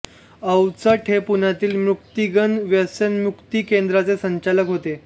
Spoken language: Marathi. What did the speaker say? अवचट हे पुण्यातील मुक्तांगण व्यसनमुक्ती केंद्राचे संचालक होते